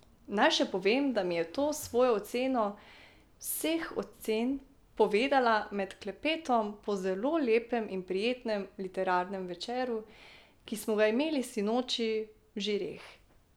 Naj še povem, da mi je to svojo oceno vseh ocen povedala med klepetom po zelo lepem in prijetnem literarnem večeru, ki smo ga imeli sinoči v žireh.